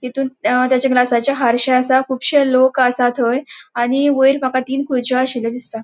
तितुन अ तेच्या ग्लासाचे आरशे असा कुबशे लोक असा थय आणि वयर मका तीन खुर्रचो आशिल्लो दिसता.